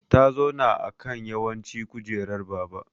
Ta zauna ã kan yawanci kujerar baba.